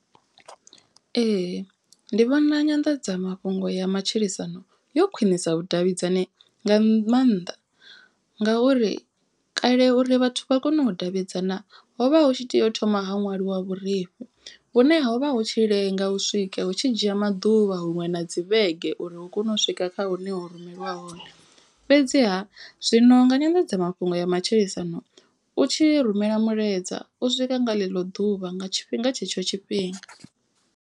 Ee ndi vhona nyanḓadzamafhungo ya matshilisano yo khwinisa vhudavhidzani nga maanḓa. Ngauri kale uri vhathu vha kone u davhidzana hovha hu tshi tea u thoma ha ṅwaliwa vhurifhi. Vhune ho vha hu tshi lenga u swika hu tshi dzhia maḓuvha huṅwe na dzi vhege uri uu kone u swika kha hune ho rumelwa hone. Fhedziha zwino nga nyanḓadzamafhungo ya matshilisano u tshi rumela mulaedza u swika nga ḽeḽo ḓuvha nga tshifhinga tshetsho tshifhinga.